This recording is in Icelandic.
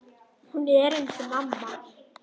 Hún er eins og mamma.